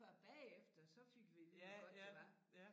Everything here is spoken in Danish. Før bagefter så fik vi at vide hvor godt det var